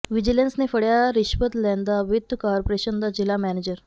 vigilance ਨੇ ਫੜਿਆ ਰਿਸ਼ਵਤ ਲੈਂਦਾ ਵਿੱਤ ਕਾਰਪੋਰੇਸ਼ਨ ਦਾ ਜ਼ਿਲ੍ਹਾ ਮੈਨੇਜਰ